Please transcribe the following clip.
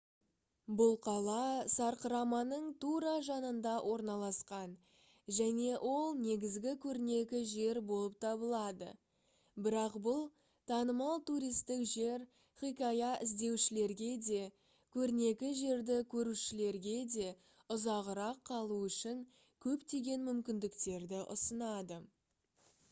бұл қала сарқыраманың тура жанында орналасқан және ол негізгі көрнекі жер болып табылады бірақ бұл танымал туристік жер хикая іздеушілерге де көрнекі жерді көрушілерге де ұзағырақ қалу үшін көптеген мүмкіндіктерді ұсынады